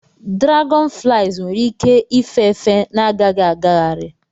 Dragonflies nwere ike ife efe na-agaghị agagharị.